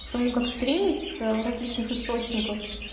потому как стримить с различных источников